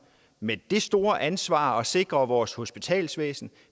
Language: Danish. med det store ansvar for at sikre vores hospitalsvæsen